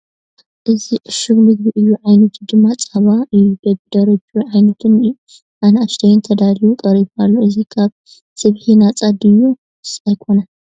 እዚ እሹግ ምግቢ እዩ ዓይነቱ ድማ ፃባ እዩ በቢ ደረጅኡ ዓበይትን ኣናኡሽተይን ተዳልዩ ቐሪቡ ኣሎ ፡ እዚ ካብ ስብሒ ነፃ ድዩስ ኣይኮነን ?